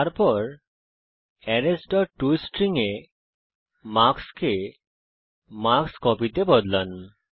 তারপর arrays dot toString এ marks কে মার্কস্কোপি তে বদলান